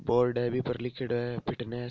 बोर्ड है बी पर लिख्योड़ो है फिटनेस ।